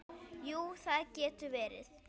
Jú, það getur verið.